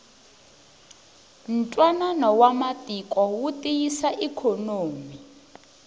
ntwanano wa matiko wu tiyisa ikhonomi